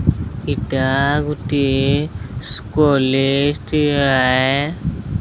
ଇଟା ଗୋଟିଏ କଲେଜ୍ ଟି ଆଏ।